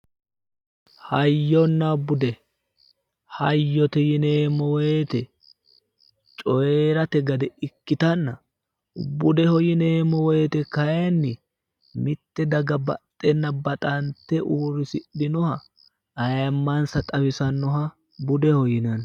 hayyonna bude hayyote yineemmowoyite coyirate gade ikkitanna budeho yineemmowoyite kayinni mitte daga baxxenna baxante uurrisidhinoha ayimmansa xawisannoha budeho yinanni.